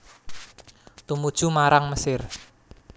Tumuju marang Mesir